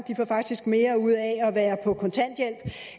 faktisk får mere ud af at være på kontanthjælp